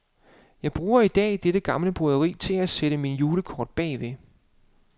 Jeg bruger i dag dette gamle broderi til at sætte mine julekort bagved.